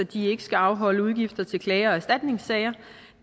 de ikke skal afholde udgifter til klager og erstatningssager